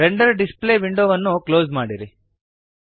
render display ವಿಂಡೋವನ್ನು close ಮಾಡಿರಿ